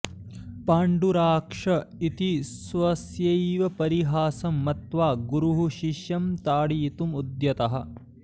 पाण्डुराक्ष इति स्वस्यैव परिहासं मत्वा गुरुः शिष्यं ताडयितुमुद्यतः